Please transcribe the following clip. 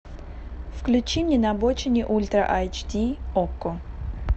включи мне на обочине ультра айч ди окко